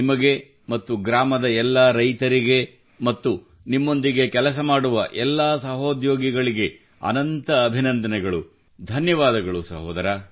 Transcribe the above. ನಿಮಗೆ ಮತ್ತು ಗ್ರಾಮದ ಎಲ್ಲಾ ರೈತರಿಗೆ ಮತ್ತು ನಿಮ್ಮೊಂದಿಗೆ ಕೆಲಸ ಮಾಡುವ ಎಲ್ಲಾ ಸಹೋದ್ಯೋಗಿಗಳಿಗೆ ಅನಂತ ಅಭಿನಂದನೆಗಳು ಧನ್ಯವಾದಗಳು ಸಹೋದರ